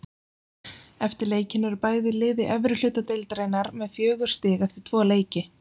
Eftir leikinn eru bæði lið í efri hluta deildarinnar með fjögur stig eftir tvo leiki.